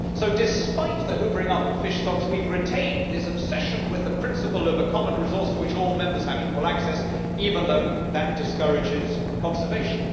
So despite the hoovering up of fish stocks, we have retained this obsession with the principle of a common resource to which all Members have equal access, even though that discourages conservation.